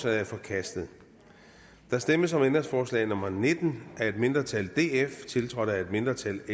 er forkastet der stemmes om ændringsforslag nummer nitten af et mindretal tiltrådt af et mindretal